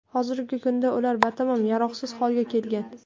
Hozirgi kunda ular batamom yaroqsiz holga kelgan.